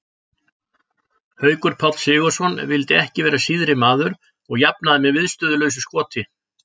Haukur Páll Sigurðsson vildi ekki vera síðri maður og jafnaði með viðstöðulausu skoti.